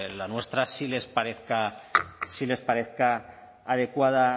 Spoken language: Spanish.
la nuestra sí les parezca adecuada